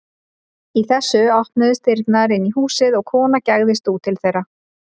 Í þessu opnuðust dyrnar inn í húsið og kona gægðist út til þeirra.